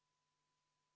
Henn Põlluaas, palun!